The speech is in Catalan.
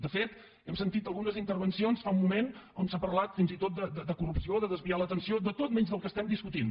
de fet hem sentit algunes intervencions fa un moment on s’ha parlat fins i tot de corrupció de desviar l’atenció de tot menys del que estem discutint